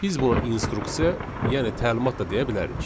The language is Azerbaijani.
Biz buna instuksiya, yəni təlimat da deyə bilərik.